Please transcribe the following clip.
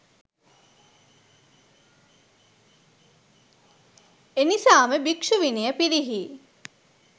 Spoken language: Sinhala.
එනිසාම භික්ෂු විනය පිරිහී